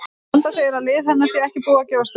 Vanda segir að lið hennar sé ekki búið að gefast upp.